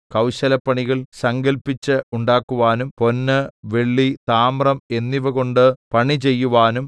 കൗശലപ്പണികൾ സങ്കല്പിച്ച് ഉണ്ടാക്കുവാനും പൊന്ന് വെള്ളി താമ്രം എന്നിവകൊണ്ട് പണി ചെയ്യുവാനും